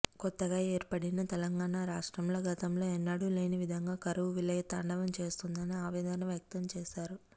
కొత్తగా ఏర్పడిన తెలంగాణ రాష్ట్రంలో గతంలో ఎన్నడూ లేనివిధంగా కరవు విలయతాండవం చేస్తుందని ఆవేదన వ్యక్తం చేశారు